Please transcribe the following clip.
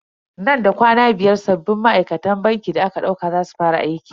Nan da kwana biyar sabbin ma'aikatan bankin da aka dauka za su fara aiki.